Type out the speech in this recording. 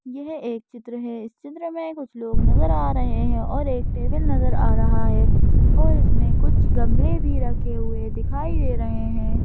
यह एक चित्र है इस चित्र में कुछ लोग नज़र आ रहे हैं और एक टेबल नज़र आ रहा है और इसमें कुछ गमले भी रखे हुए दिखाई दे रहे हैं।